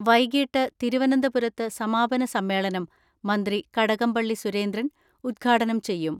വൈകിട്ട് തിരുവനന്തപുരത്ത് സമാപന സമ്മേളനം മന്ത്രി കടകംപള്ളി സുരേന്ദ്രൻ ഉദ്ഘാടനം ചെയ്യും.